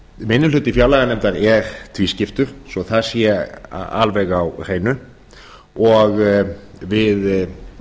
minni hluti fjárlaganefndar er tvískiptur svo það sé alveg á hreinu og við